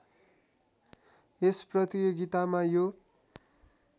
यस प्रतियोगितामा यो